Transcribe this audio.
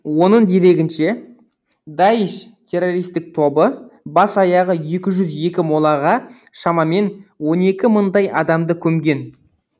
оның дерегінше даиш террористік тобы бас аяғы екі жүз екі молаға шамамен он екі мыңдай адамды көмген